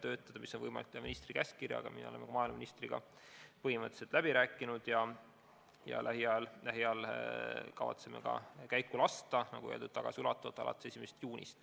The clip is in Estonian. Seda on võimalik teha ministri käskkirjaga ja me oleme maaeluministriga asja põhimõtteliselt läbi rääkinud ja lähiajal kavatseme need meetmed käiku lasta, nagu öeldud, tagasiulatuvalt alates 1. juunist.